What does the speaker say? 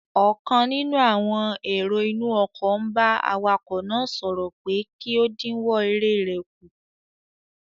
Ọ̀kan nínú àwọn èrò inú ọkọ̀ n bá awakọ̀ náà sọ̀rọ̀ pé kí ó dínwọ́ eré rẹ̀ kù